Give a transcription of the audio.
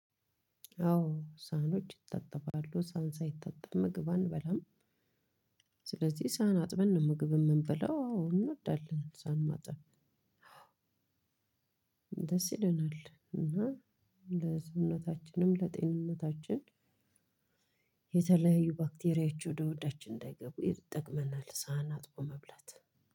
አዎ ሳህኖች ይታጠባሉ ሳህን ሳይታጠብ ምግብ አንበላም። ስለዚህ ሳህን አጥበን ነው ምግብ የምንበለው እንወዳለን ሳህን ማጠብ። ደስ ይለናል እና ለሰውነታችንም ለጤንነታችን የተለያዩ ባክቴሪያቸው ወደ ሆዳችን እንዳይገቡ ይጠቅመናል። ሳህን አጥቦ መብላት